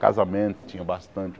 Casamento tinha bastante.